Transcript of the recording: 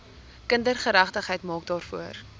kindergeregtigheid maak daarvoor